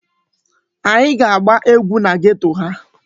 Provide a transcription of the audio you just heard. Anyị ga-agba egwu na geto ha.